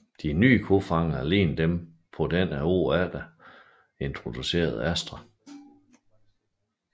De nye kofangere lignede dem på den året efter introducerede Astra